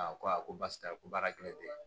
Aa ko a ko basi tɛ ko baara kelen tɛ